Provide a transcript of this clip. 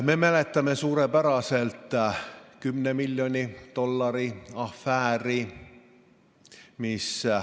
Me mäletame suurepäraselt ka 10 miljoni dollari afääri.